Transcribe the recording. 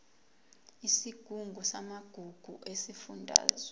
isigungu samagugu sesifundazwe